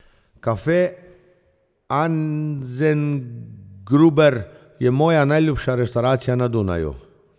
Cafe Anzengruber je moja najljubša restavracija na Dunaju.